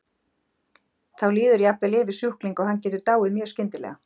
Þá líður jafnvel yfir sjúkling og hann getur dáið mjög skyndilega.